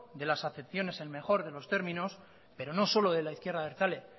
de las acepciones en el mejor de los términos pero no solo de la izquierda abertzale